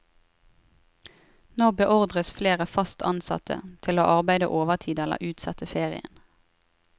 Nå beordres flere fast ansatte til å arbeide overtid eller utsette ferien.